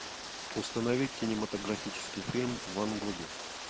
установи кинематографический фильм ван гоги